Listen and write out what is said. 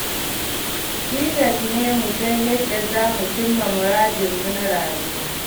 Tilas ne mu san yadda za mu cimma muradanmu na rayuwa.